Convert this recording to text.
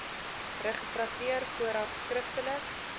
registrateur vooraf skriftelik